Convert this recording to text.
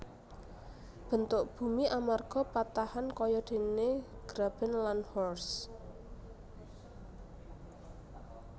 Bentuk bumi amarga patahan kayadéné graben lan horst